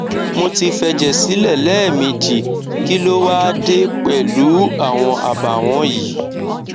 mo ti fẹjẹ sílẹ lẹẹmejì kí ló wá á dé pẹlú u àwọn àbàwọn yìí